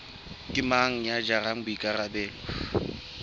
ke mang ya jarang boikarabelo